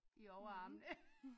I overarmen